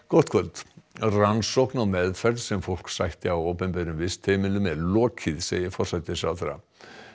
gott kvöld rannsókn á meðferð sem fólk sætti á opinberum vistheimilum er lokið segir forsætisráðherra